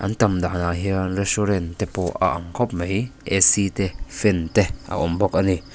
an tam danah hian restaurant te pawh a ang khawp mai te fan te a awm bawk a ni.